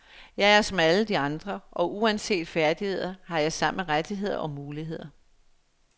Jeg er som alle de andre, og uanset færdigheder har jeg samme rettigheder og muligheder.